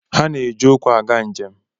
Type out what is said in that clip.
Ha na-eji ụkwụ aga njem.